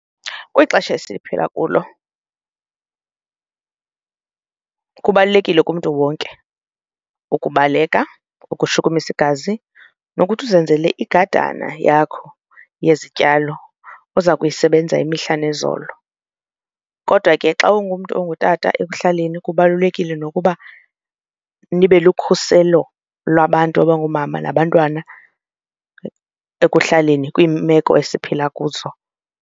Kwixesha esiphila kulo kukho kubalulekile kumntu wonke ukubaleka, ukushukumisa igazi, nokuthi uzenzele igadana yakho yezityalo oza kuyisebenza imihla nezolo. Kodwa ke xa ungumntu ongutata ekuhlaleni kubalulekile nokuba nibe lukhuselo lwabantu abangoomama nabantwana ekuhlaleni kwiimeko esiphila kuzo.